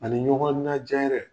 Ani ɲɔgɔn najɛrɛ